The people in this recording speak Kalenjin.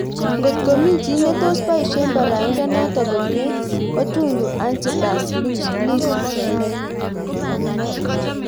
Ngot ko mi chi netos baisye baraindo noto komyee ko Tundu Antipas Lissu